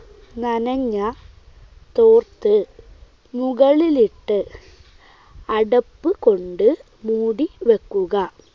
നനഞ്ഞ തോർത്ത് മുകളിലിട്ട് അടപ്പുകൊണ്ട് മൂടി വെക്കുക.